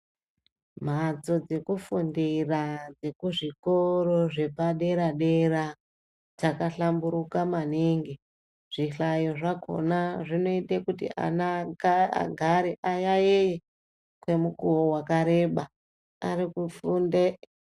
Mhatso dzekufundira dzekuzvikoro zvepaderadera dzakahlamburuka maningi zvihlayo zvakona zvinoita kuti ana agare ayayeye kwemukuwo wakareba arikufunde...